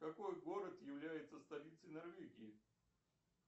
какой город является столицей норвегии